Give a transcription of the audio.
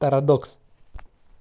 парадокс